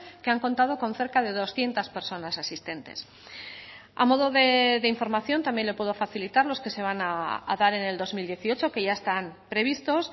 que han contado con cerca de doscientos personas asistentes a modo de información también le puedo facilitar los que se van a dar en el dos mil dieciocho que ya están previstos